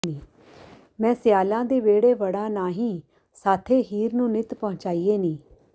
ਮੈਂ ਸਿਆਲਾਂ ਦੇ ਵਿਹੜੇ ਵੜਾਂ ਨਾਹੀਂ ਸਾਥੇ ਹੀਰ ਨੂੰ ਨਿੱਤ ਪਹੁੰਚਾਈਏ ਨੀ